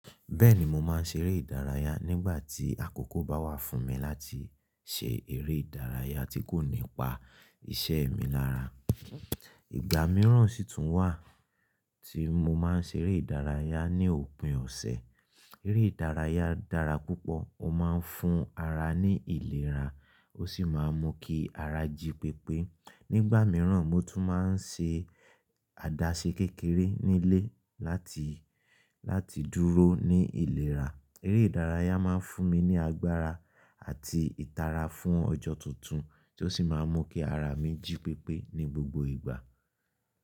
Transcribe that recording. Bẹ́ẹ̀ni, mo máa ń ṣeré ìdárayá nígbà tí àkókò bá wà fún mi láti ṣe eré ìdárayá tí kò ní pa iṣẹ́ mi lára. Ìgbà mìíràn sì tún wà tí mo máa ń ṣe eré ìdárayá ní òpin ọ̀sẹ̀. Eré ìdárayá dára púpọ̀, ó máa ń fún ara ní ìlera ó sì máa ń mú kí ara jí pépé. Nígbà mìíràn mo tún máa ń ṣe àdáṣe kékeré nílé láti, láti dúró ní ìlera. Eré ìdárayá máa ń fún mi ní agbára àti ìtara fún ọjọ́ tuntun ti oó sì máa ń mú kí ara mi jí pépé ní gbogbo ìgbà.